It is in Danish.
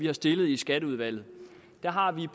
har stillet i skatteudvalget har vi